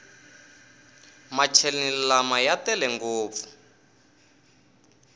macheleni lama ya tele ngopfu